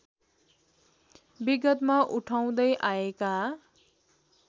विगतमा उठाउदै आएका